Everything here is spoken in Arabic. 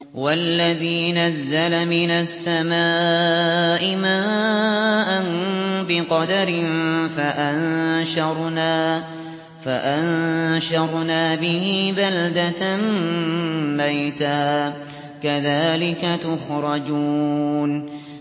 وَالَّذِي نَزَّلَ مِنَ السَّمَاءِ مَاءً بِقَدَرٍ فَأَنشَرْنَا بِهِ بَلْدَةً مَّيْتًا ۚ كَذَٰلِكَ تُخْرَجُونَ